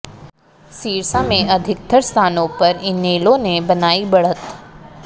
सिरसा में अधिकतर स्थानों पर इनेलो ने बनाई बढ़त